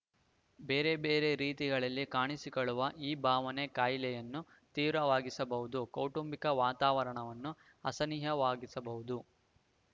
ಬೇರೆ ಬೇರೆ ರೀತಿಗಳಲ್ಲಿ ಕಾಣಿಸಿಕೊಳ್ಳುವ ಈ ಭಾವನೆ ಕಾಯಿಲೆಯನ್ನು ತೀವ್ರವಾಗಿಸಬಹುದು ಕೌಟುಂಬಿಕ ವಾತಾವರಣವನ್ನು ಅಸಹನೀಯವಾಗಿಸಬಹುದು